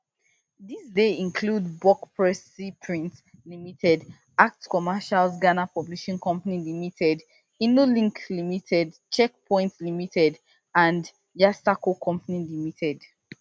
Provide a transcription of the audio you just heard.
dis dey include buck press sea print limited acts commercials ghana publishing company limited innolink limited check point limited and yasarko company limited